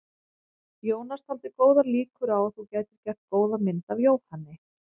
Jónas taldi góðar líkur á að þú gætir gert góða mynd af Jóhanni.